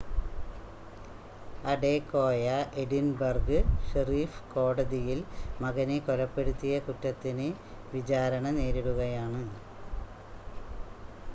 Adekoya Edinburgh sheriff കോടതിയിൽ മകനെ കൊലപ്പെടുത്തിയ കുറ്റത്തിന് വിചാരണ നേരിടുകയാണ്